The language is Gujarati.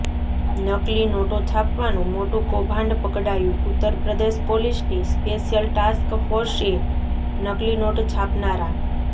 નકલી નોટો છાપવાનું મોટું કૌભાંડ પકડાયું ઉત્તર પ્રદેશ પોલીસની સ્પેશિયલ ટાસ્ક ફોર્સએ નકલી નોટ છાપનારા